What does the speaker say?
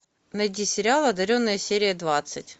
найди сериал одаренная серия двадцать